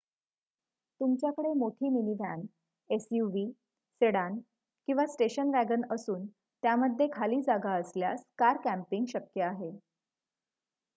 तुमच्याकडे मोठी minivan suv sedan किंवा स्टेशन वॅगन असून त्यामध्ये खाली जागा असल्यास कार कॅम्पिंग शक्य आहे